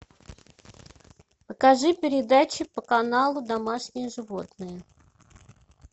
покажи передачи по каналу домашние животные